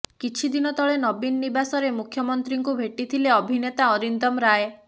କିଛି ଦିନ ତଳେ ନବୀନ ନିବାସରେ ମୁଖ୍ୟମନ୍ତ୍ରୀଙ୍କୁ ଭେଟିଥିଲେ ଅଭିନେତା ଅରିନ୍ଦମ ରାୟ